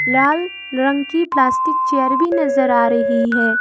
लाल रंग की plastic chair भी नजर आ रही है।